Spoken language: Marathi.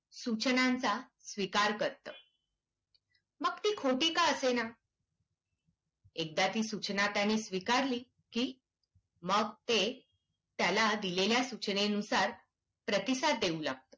सूचनांचा स्वीकार करतं. मग ती खोटी का असेना? एकादा ती सूचना त्याने स्वीकारली की मग ते त्याला दिलेल्या सूचनेनुसार प्रतिसाद देऊ लागतं.